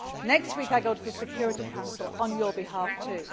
Next week I go to the Security Council, on your behalf